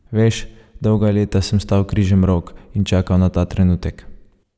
Veš, dolga leta sem stal križemrok in čakal na ta trenutek.